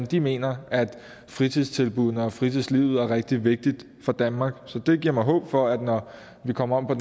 de mener at fritidstilbuddene og fritidslivet er rigtig vigtigt for danmark så det giver mig håb om at når vi kommer om på